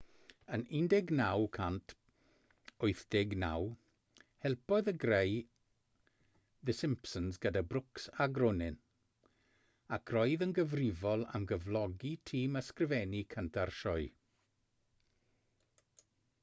yn 1989 helpodd e greu the simpsons gyda brooks a groening ac roedd yn gyfrifol am gyflogi tîm ysgrifennu cynta'r sioe